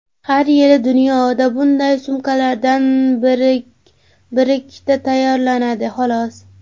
Har yili dunyoda bunday sumkalardan birikkita tayyorlanadi, xolos.